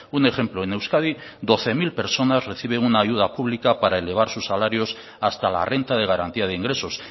un ejemplo en euskadi doce mil personas reciben una ayuda pública para elevar sus salarios hasta la renta de garantía de ingresos